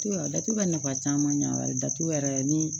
Datugu ka nafa caman ɲɛ wɛrɛ la datugu yɛrɛ ni